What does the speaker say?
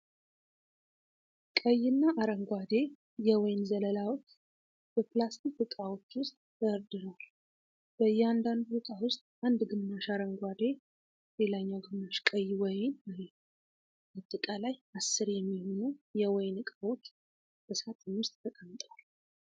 ቀይ እና አረንጓዴ የወይን ዘለላዎች በፕላስቲክ ዕቃዎች ውስጥ ተደርድረዋል። በያንዳንዱ ዕቃ ውስጥ አንድ ግማሽ አረንጓዴ፣ ሌላኛው ግማሽ ቀይ ወይን አለ። አጠቃላይ አስር የሚሆኑ የወይን ዕቃዎች በሳጥን ውስጥ ተቀምጠዋል።